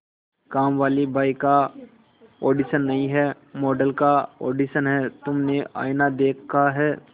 कामवाली बाई का ऑडिशन नहीं है मॉडल का ऑडिशन है तुमने आईना देखा है